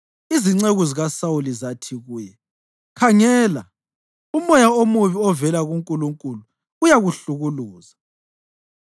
Izinceku zikaSawuli zathi kuye, “Khangela, umoya omubi ovela kuNkulunkulu uyakuhlukuluza.